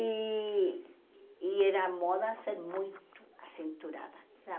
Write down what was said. E e era moda ser muito acinturada.